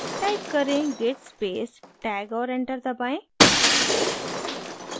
type करें: git space tag और enter दबाएँ